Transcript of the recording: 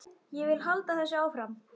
Ég vil halda þessu áfram.